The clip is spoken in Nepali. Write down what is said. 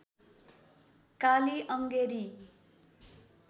काली अङ्गेरी